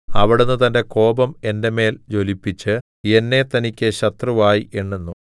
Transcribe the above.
അവിടുന്ന് തന്റെ കോപം എന്റെ മേൽ ജ്വലിപ്പിച്ച് എന്നെ തനിക്ക് ശത്രുവായി എണ്ണുന്നു